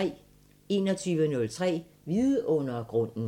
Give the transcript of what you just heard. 21:03: Vidundergrunden